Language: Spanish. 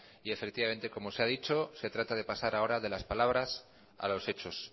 y efectivamente como se ha dicho se trata de pasar ahora de las palabras a los hechos